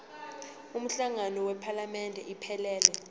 umhlangano wephalamende iphelele